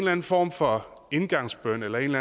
anden form for indgangsbøn eller en